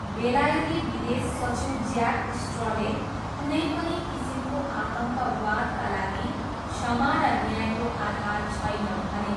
बेलायती विदेश सचिव ज्याक स्ट्रले 'कुनै पनि किसिमको आतङ्कवादका लागि क्षमा र न्यायको आधार छैन' भने।